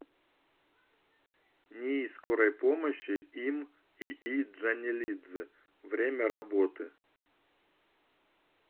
нии скорой помощи им ии джанелидзе время работы